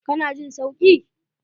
Ka na jin sauki?